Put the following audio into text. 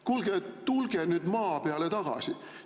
Kuulge, tulge nüüd maa peale tagasi!